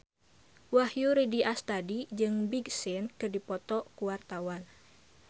Wahyu Rudi Astadi jeung Big Sean keur dipoto ku wartawan